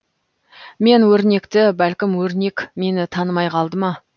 мен өрнекті бәлкім өрнек мені танымай қалды ма